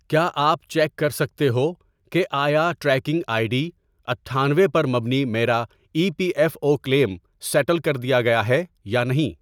کیا آپ چیک کر سکتے ہو کہ آیا ٹریکنگ آئی ڈی اٹھانوے ، پر مبنی میرا E P F O claim settle کر دیا گیا ہے یا نہیں؟